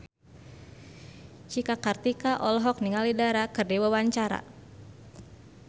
Cika Kartika olohok ningali Dara keur diwawancara